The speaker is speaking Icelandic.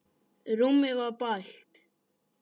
Rúmið var bælt.